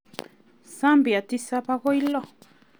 Zambia tisab agoi loo.